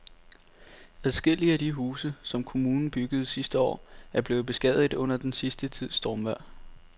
Adskillige af de huse, som kommunen byggede sidste år, er blevet beskadiget under den sidste tids stormvejr.